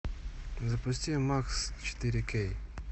запусти макс четыре кей